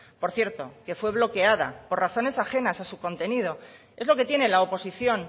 por cierto que fue bloqueada por razones ajenas a su contenido es lo que tiene la oposición